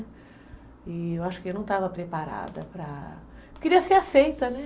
E eu acho que eu não estava preparada para... Eu queria ser aceita, né?